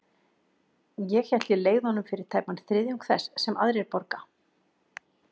Ég hélt ég leigði honum fyrir tæpan þriðjung þess, sem aðrir borga.